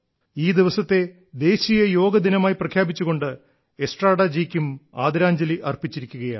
ഈ ദിവസത്തെ national yoga day ആയി പ്രഖ്യാപിച്ചുകൊണ്ട് എസ്ട്രാഡാജിക്കും ആദരാഞ്ജലി അർപ്പിച്ചിരിക്കുകയാണ്